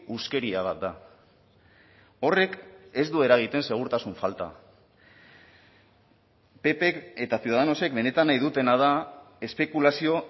huskeria bat da horrek ez du eragiten segurtasun falta ppk eta ciudadanosek benetan nahi dutena da espekulazio